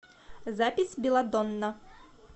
запись белладонна